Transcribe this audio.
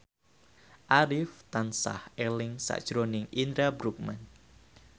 Arif tansah eling sakjroning Indra Bruggman